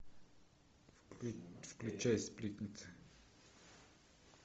включай сплетница